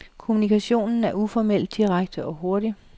Kommunikationen er uformel, direkte og hurtig.